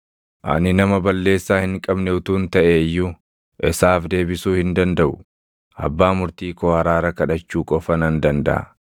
Ani nama balleessaa hin qabne utuun taʼe iyyuu, isaaf deebisuu hin dandaʼu; abbaa Murtii koo araara kadhachuu qofa nan dandaʼa.